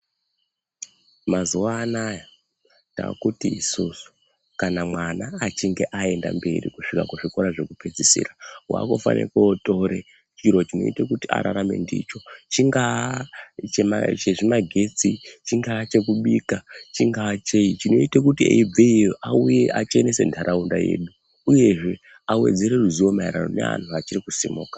Mazuwa anaya takuti kana mwana achinge aenda mberi kuzvikora zvekupedzisira wakufana kotora chiro chimwe chekurarama ndicho chinga chezvimagetsi chingaya chekubika chingaa chei chinoita kuti eibva iyoyo achenese nharaunda yedu uyezve awedzere ruzivo kune vantu vachiri kusimuka.